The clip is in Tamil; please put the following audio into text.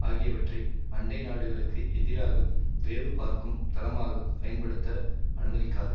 ஆகியவற்றை அண்டை நாடுகளுக்கு எதிராக வேவு பார்க்கும் தளமாக பயன்படுத்த அனுமதிக்காது